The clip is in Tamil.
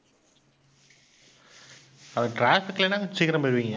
அப்ப traffic இல்லேன்னா சீக்கிரம் போயிடுவீங்க.